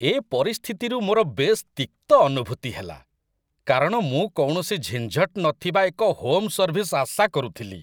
ଏ ପରିସ୍ଥିତିରୁ ମୋର ବେଶ୍ ତିକ୍ତ ଅନୁଭୂତି ହେଲା, କାରଣ ମୁଁ କୌଣସି ଝିଞ୍ଝଟ ନଥିବା ଏକ ହୋମ୍ ସର୍ଭିସ୍ ଆଶା କରୁଥିଲି।